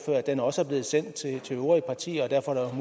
den også er blevet sendt til de øvrige partier og derfor er